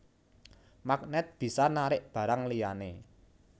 Magnèt bisa narik barang liyané